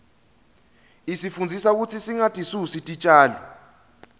isifundzisa kutsi singatisusi titjalo